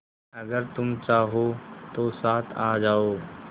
अगर तुम चाहो तो साथ आ जाओ